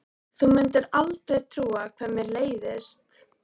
Þú mundir aldrei trúa hvað mér leiðist.